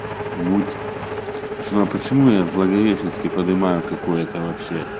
муть ну а почему я в благовещенске подымаю какое то вообще